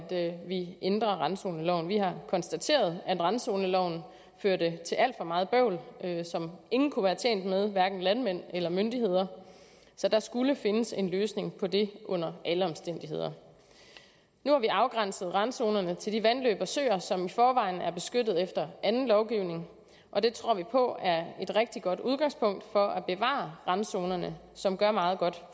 vi ændrer randzoneloven vi har konstateret at randzoneloven førte til alt for meget bøvl som ingen kunne være tjent med hverken landmænd eller myndigheder så der skulle findes en løsning på det under alle omstændigheder nu har vi afgrænset randzonerne til de vandløb og søer som i forvejen er beskyttet efter anden lovgivning og det tror vi på er et rigtig godt udgangspunkt for at bevare randzonerne som gør meget godt